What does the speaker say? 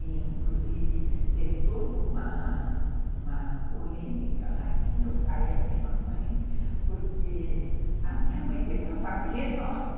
E, inclusive, teve toda uma uma polêmica lá entre meu pai e a minha mãe, porque a minha mãe tem uma família enorme.